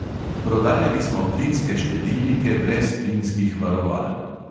Prodajali smo plinske štedilnike brez plinskih varoval.